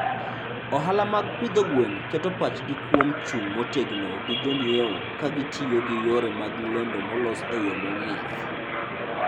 Ohala mag pidho gwen keto pachgi kuom chung' motegno gi jonyiewo ka gitiyo gi yore mag lendo molos e yo mong'ith.